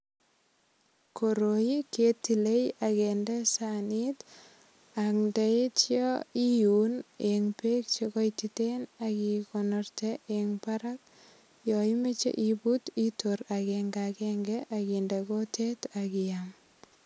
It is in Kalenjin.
Koroi ketile ak kinde sanit ak ndaitya iun eng beek che koititen ak ikonorte eng barak. Yo imoche ibut itor agengagenge ak inde kutit ak iyam.